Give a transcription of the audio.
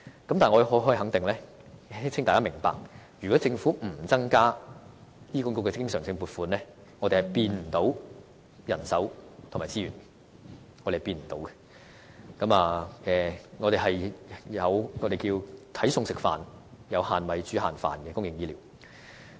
可是，我可以肯定，亦請大家明白，如果政府不增加對醫管局的經常性撥款，我們是看不到可以增加到人手和資源的，而只能有"睇餸食飯"，即"有限米，煮限飯"的公營醫療服務。